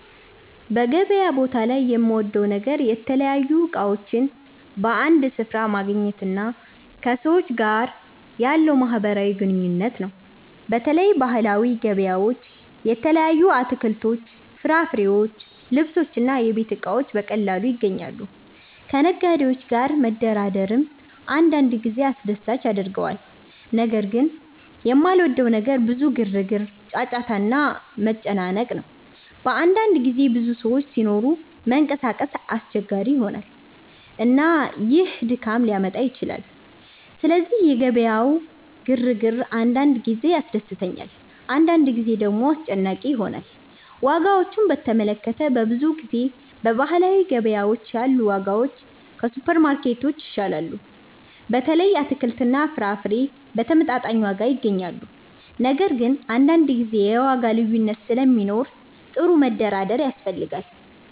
በገበያ ቦታ ላይ የምወደው ነገር የተለያዩ እቃዎችን በአንድ ስፍራ ማግኘት እና ከሰዎች ጋር ያለው ማህበራዊ ግንኙነት ነው። በተለይ ባህላዊ ገበያዎች የተለያዩ አትክልቶች፣ ፍራፍሬዎች፣ ልብሶች እና የቤት እቃዎች በቀላሉ ይገኛሉ። ከነጋዴዎች ጋር መደራደርም አንዳንድ ጊዜ አስደሳች ያደርገዋል። ነገር ግን የማልወደው ነገር ብዙ ግርግር፣ ጫጫታ እና መጨናነቅ ነው። በአንዳንድ ጊዜ ብዙ ሰዎች ሲኖሩ መንቀሳቀስ አስቸጋሪ ይሆናል፣ እና ይህ ድካም ሊያመጣ ይችላል። ስለዚህ የገበያው ግርግር አንዳንድ ጊዜ ያስደስተኛል፣ አንዳንድ ጊዜ ደግሞ አስጨናቂ ይሆናል። ዋጋዎችን በተመለከተ፣ በብዙ ጊዜ በባህላዊ ገበያዎች ያሉ ዋጋዎች ከሱፐርማርኬቶች ይሻላሉ። በተለይ አትክልትና ፍራፍሬ በተመጣጣኝ ዋጋ ይገኛሉ። ነገር ግን አንዳንድ ጊዜ የዋጋ ልዩነት ስለሚኖር ጥሩ መደራደር ያስፈልጋል።